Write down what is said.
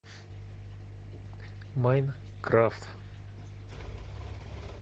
майнкрафт